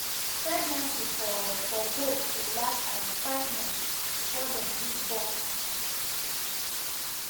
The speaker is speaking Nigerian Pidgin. pregnancy for for goat dey last around five months before dem give born the pikin